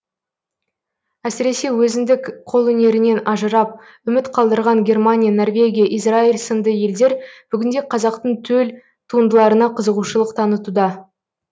әсіресе өзіндік қолөнерінен ажырап үміт қалдырған германия норвегия израил сынды елдер бүгінде қазақтың төл туындыларына қызығушылық танытуда